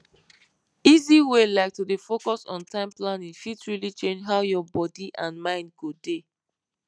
easy way like to dey focus on time planning fit really change how your body and mind go dey